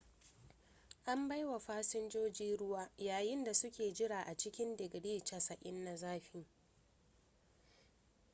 an bai wa fasinjoji ruwa yayin da suke jira a cikin didgiri 90 na zafi